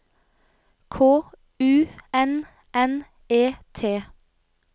K U N N E T